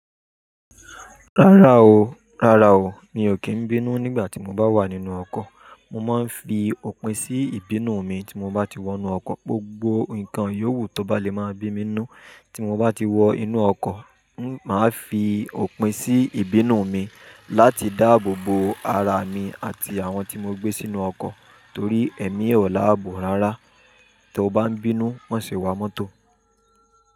Rárá o, rárá o, mi ò kí ń bínú nígbà tí mo bá wà nínú ọkọ̀. Mo máa ń fi òpin sí ìbínú mi tí mo bá ti wọ inú ọkọ̀. Gbogbo nǹkan yówù tó bá lè máa bí mi nú tí mo bá ti wọ inú ọkọ̀, máa fi òpin sí ìbínú mi láti dáàbò bo ara mi àti àwọn tí mo gbé sínú ọkọ̀ torí èmi e ò láàbò rárá tó bá ń bínú, má ṣe wà mọ́tò.